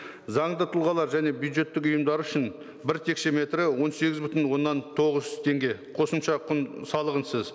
заңды тұлғалар және бюджеттік ұйымдар үшін бір текшеметрі он сегіз бүтін оннан тоғыз теңге қосымша салығынсыз